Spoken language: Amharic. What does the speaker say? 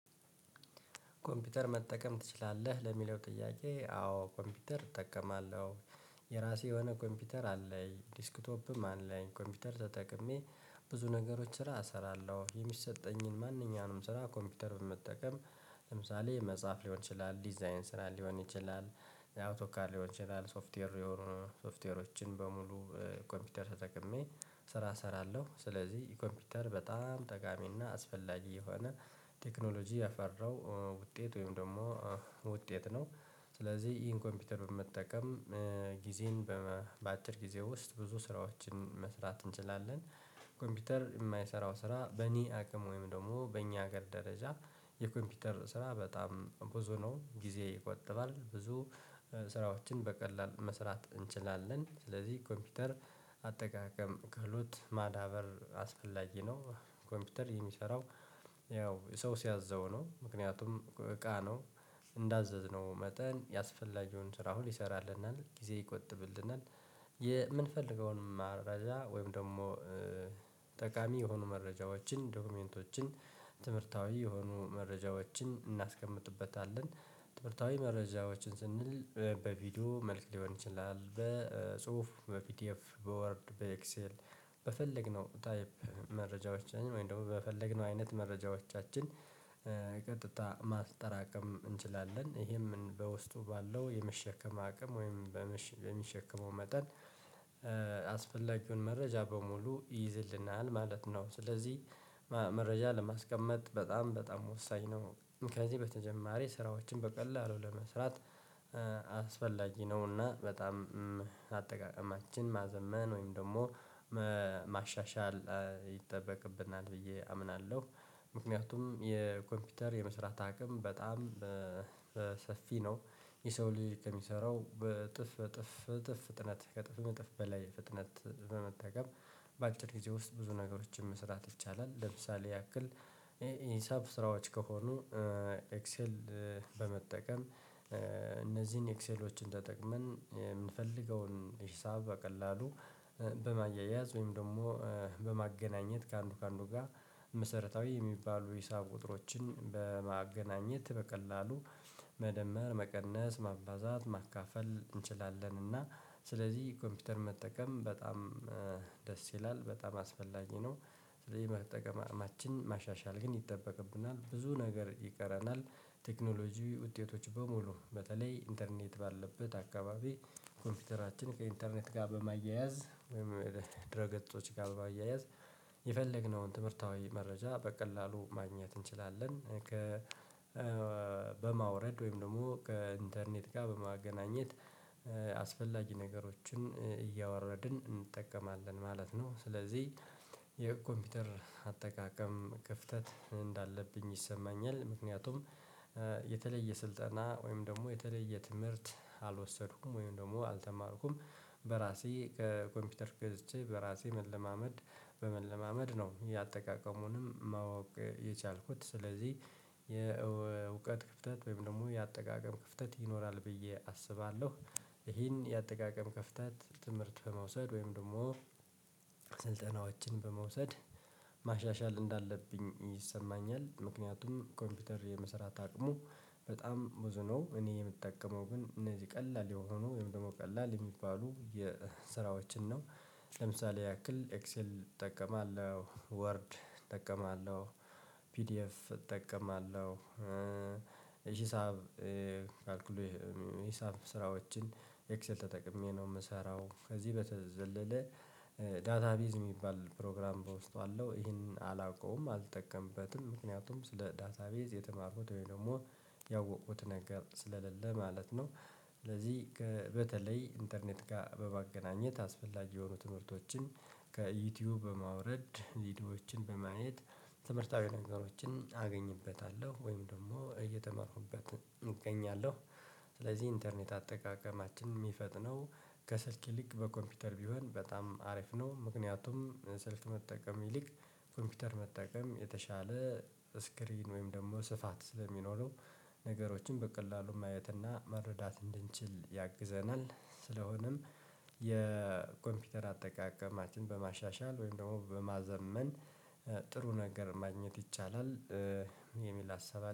ኮምፒውተር መጠቀም ትችላለህ ለሚለው ጥያቄ? አዎ ኮምፒውተር እጠቀማለሁ። የራሴ የሆነ ኮምፒውተር አለኝ ዲስክቶፕም አለኝ ኮምፒውተር ተጠቅሜ። ብዙ ነገሮች ስራ እሰራለሁ የሚሰጠኝን ማንኛውንም ስራ ኮምፒውተር በመጠቀም። ለምሳሌ መጻፍ ሊሆን ይችላል ዲዛይን ስራ ሊሆን ይችላል። አውቶካል ሊሆን ይችላል ሶፍትዌር ሶፍትዌሮችን በሙሉ ኮምፒውተር ተጠቅሜ ስራ እሰራለሁ። ስለዚህ ኮምፒውተር በጣም ጠጋሚ እና አስፈላጊ የሆነ ቴክኖሎጂ የፈራው ውጤት ወይም ደግሞ ውጤት ነው። ስለዚህ ይህን ኮምፒውተር በመጠቀም ጊዜየን በአጭር ጊዜ ውስጥ ብዙ ስራዎችን መስራት እንችላለን። ኮምፒውተር እማይሰራው ስራ በእኔ አቅም ወይም ደግሞ በእኛ ሀገር ደረጃ። የኮምፒውተር ስራ በጣም ብዙ ነው ጊዜ ይቆጥባል ብዙ ስራዎችን በቀላል መስራት እንችላለን። ስለዚህ ኮምፒውተር አጠቃቀም ክህሎት ማዳበር አስፈላጊ ነው። ኮምፒውተር የሚሰራው ያው ሰው ሲያዘው ነው። ምክንያቱም እቃ ነው። እንዳዘዝነው መጠን ያስፈላጊውን ስራ ሁሉ ይሰራልናል ጊዜ ይቆጥብልናል። የእምንፈልገውንም መረጃ ወይም ደግሞ ጠቃሚ የሆኑ መረጃዎችን ዶክመንቶችን ትምህርታዊ የሆኑ መረጃዎችን እናስቀምጥበታለን። ትምህርታዊ መረጃዎችን ስንል በቪዲዮ መልክ ሊሆን ይችላል በጽሁፍ በፒዲኤፍ በወርድ በኤክሴል ታይፕ መረጃዎቻችን ወይም ደሞ በፈለግነው አይነት መረጃዎቻችን ቀጥታ ማጠራቀም እንችላለን። ይሄም በውስጡ ባለው የመሸከም አቅም ወይም በሚሸከመው መጠን አስፈላጊውን መረጃ በሙሉ ይይዝልናል ማለት ነው። ስለዚህ መረጃ ለማስቀመጥ በጣም በጣም ወሳኝ ነው። ከዚህ በተጀማሪ ስራዎችን በቀላሉ ለመስራት ነው እና በጣም አጠቃቀማችን ማዘመን ወይም ደሞ ማሻሻል ይጠበቅብናል። ብዬ አምናለሁ። ምክንያቱም የኮምፒውተር የመስራት አቅም በጣም ሰፊ ነው። የሰው ልጅ ከሚሰራው በእጥፍ እጥፍ እጥፍ ፍጥነት ከጥፍም እጥፍ በላይ ፍጥነት በመጠቀም በአጭር ጊዜ ውስጥ ብዙ ነገሮችን መስራት ይቻላል። ለምሳሌ ያክል የሂሳብ ስራዎች ከሆኑ ኤክሴል በመጠቀም እነዚህን ኤክሴሎችን ተጠቅመን የምንፈልገውን ሂሳብ በቀላሉ በማያያዝ ወይም ደግሞ በማገናኘት ከአንዱ ከአንዱ ጋ መሰረታዊ የሚባሉ የሂሳብ ወጥሮችን በማገናኘት በቀላሉ መደመር መቀነስ ማባዛት ማካፈል እንችላለን። እና ስለዚህ ኮምፒውተር መጠቀም በጣም ደስ ይላል በጣም አስፈላጊ ነው። ስለዚህ የመጠቀም አቅማችንን ማሻሻል ግን ይጠበቅብናል ብዙ ነገር ይቀረናል። ቴክኖሎጂ ውጤቶች በሙሉ በተለይ ኢንተርኔት ባለበት አካባቢ ኮምፒውተራችን ከኢንተርኔት ጋር በማያያዝ ወይም ድረ ገጾች ጋር በማያያዝ የፈለግነውን ትምህርታዊ መረጃ በቀላሉ ማግኘት እንችላለን። ከ በማውረድ ወይም ደሞ ከኢንተርኔት ጋር በማገናኘት አስፈላጊ ነገሮችን እያወረድን እንጠቀማለን ማለት ነው። ስለዚህ የኮምፒውተር አጠቃቀም ክፍተት እንዳለብኝ ይሰማኛል። ምክንያቱም የተለየ ስልጠና ወይም ደሞ የተለየ ትምህርት አልወሰዱኩም ወይም ደግሞ አልተማርኩም። በራሴ ከኮምፒውተር ገዝቼ በራሴ መለማመድ በመለማመድ ነው። የአጠቃቀሙንም ማወቅ የቻልኩት ስለዚህ የእውቀት ክፍተት ወይም ደሞ የአጠቃቀም ክፍተት ይኖራል ብዬ አስባለሁ። ይሄን የአጠቃቀም ክፍተት በመውሰድ ወይም ደግሞ ስልጠናዎችን በመውሰድ ማሻሻል እንዳለብኝ ይሰማኛል። ምክንያቱም ኮምፒውተር የመሰራት አቅሙ በጣም ብዙ ነው። እኔ የምጠቀመው ግን እነዚህ ቀላል የሆኑ ወይም ደግሞ ቀላል እሚባሉ የስራዎችን ነው። ለምሳሌ ያክል ኤክሴል እጠቀማለሁ ወርድ እጠቀማለሁ ፒዲኤፍ እጠቀማለሁ። ሂሳብ አክሉይ ሂሳብ ስራዎችን ኤክሰል ተጠቅሜ ነው እምሰራው ከዚህ በተዘለለ ዳታቤዝ እሚባል ፕሮግራም በውስጡ አለው ይሄንን አላውቀውም አልጠቀምበትም ምክንያቱም ስለ ዳሳቤዝ የተማርኩት ወይ ደግሞ ያወቅኩት ነገር ስለሌለ ማለት ነው። ስለዚህ በተለይ ኢንተርኔት ጋር በማገናኘት አስፈላጊ የሆኑ ትምህርቶችን ከዩቲዩብ በማውረድ ቪዲዮችን በማየት ትምህርታዊ ነገሮችን አገኝበታለሁ ወይም ደግሞ እየተማርኩበት እገኛለሁ። ስለዚህ ኢንተርኔት አጠቃቀማችን እሚፈጥነው ከስልክ ይልቅክ በኮምፒውተር ቢሆን በጣም አሪፍ ነው። ምክንያቱም ስልክ መጠቀም ይልቅ ኮምፒውተር መጠቀም የተሻለ ስክሪን ወይም ደሞ ስፋት ስለሚኖሩ ነገሮችን በቀላሉ ማየትና መረዳት እንድንችል ያግዘናል። ስለሆነም የኮምፒውተር አጠቃቀማችን በማሻሻል ወይም ደግሞ በማዘመን ጥሩ ነገር ማግኘት ይቻላል። የሚል ሀሳብ